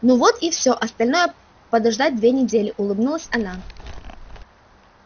ну вот и всё остальное подождать две недели улыбнулась она